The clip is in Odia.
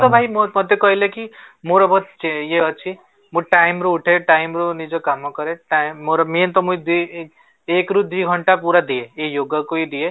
ତ ଭାଇ ମତେ କହିଲେ କି ମୋର ବହୁତ ଇଏ ଅଛି ମୋ time ର ଗୋଟେ ନିଜ କାମ କରେ ମୋର main ତ ଦି ଏକ ରୁ ଦି ଘଣ୍ଟା ପୁରା ଦିଏ ଏଇ yoga କୁ ହି ଦିଏ